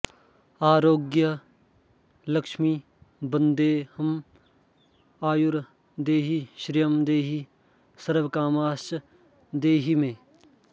आरोग्यलक्ष्मि वन्देऽहं आयुर्देहि श्रियं देहि सर्वकामांश्च देहि मे